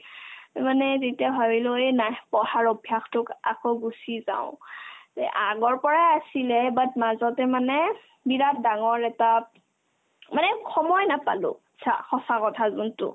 মানে যেতিয়া ভাবিলো এহ্ নাই পঢ়াৰ অভ্যাসতোক আকৌ গুচি যাও তে আগৰ পৰা আছিলে but মাজতে মানে বিৰাট ডাঙৰ এটা মানে সময় নাপালো চা সঁচা কথা যোনতো